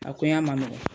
A koya ma nɔgɔn